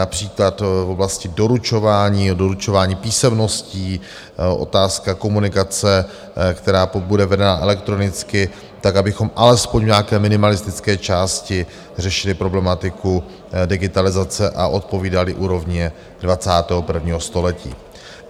například oblasti doručování, doručování písemností, otázka komunikace, která bude vedena elektronicky, tak abychom alespoň v nějaké minimalistické části řešili problematiku digitalizace a odpovídali úrovni 21. století.